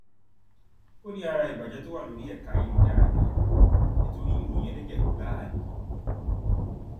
ó ní ara ìbàjẹ tó wà lórí ẹka ayélujára nìyẹn nítorí ìròyìn ẹlẹjẹ gbáà ni